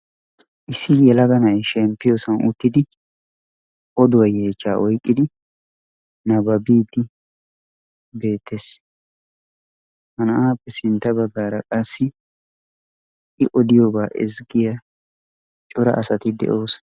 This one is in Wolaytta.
Issi yelaga na'ay shemppiyo sohuwa uttidi oduwa yeechchaa oyqqidi nabbabbiidi bettees, ha naa'aappe sintta baggaara qassi i odiyobaa ezzggiya cora asati de"oosona.